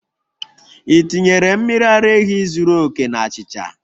Ị tinyere mmiri ara ehi zuru oke na achịcha?